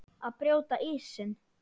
Að brjóta ísinn